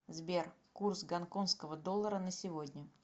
сбер курс гонконского доллара на сегодня